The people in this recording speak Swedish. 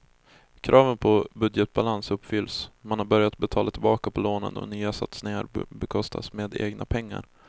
Kraven på budgetbalans uppfylls, man har börjat betala tillbaka på lånen och nya satsningar bekostas med egna pengar.